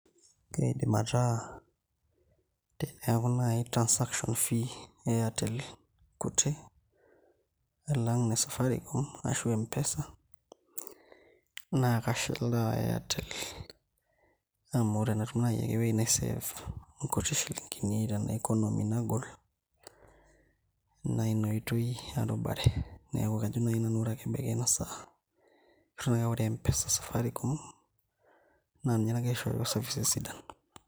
Keidim ataa teneeku naai transaction fee e Airtel kuti alang ine Safaricom arash M-pesa naa kashilaa Airtel amu ore tenatum naai ake ewuei naisave nkuti shilinkini tena economy nagol naa ina oitoi arubare, neeku kajo naai nanu ore ake ebaiki ena saa kajo ake ore M-pesa e Safaricom naa ninye nagira aishooyo services sidan.